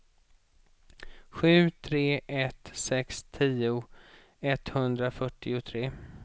sju tre ett sex tio etthundrafyrtiotre